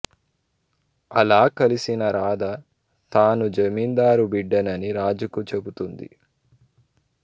అలా కలిసిన రాధ తాను జమీందారు బిడ్డనని రాజుకు చెబుతుంది